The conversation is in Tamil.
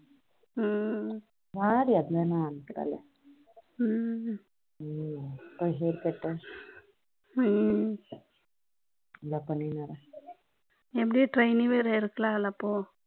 எப்படி training வேற இருக்கலாம் இல்ல அப்போ